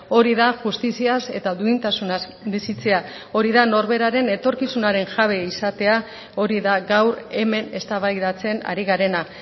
hori da justiziaz eta duintasunaz bizitzea hori da norberaren etorkizunaren jabe izatea hori da gaur hemen eztabaidatzen ari garena